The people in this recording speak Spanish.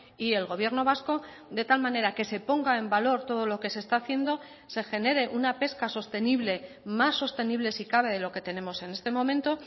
y el gobierno vasco de tal manera que se ponga en valor todo lo que se está haciendo se genere una pesca sostenible más sostenible si cabe de lo que tenemos en este momento